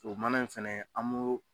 O mana in fɛnɛ an m'o